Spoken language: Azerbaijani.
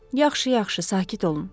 Yaxşı, yaxşı, sakit olun.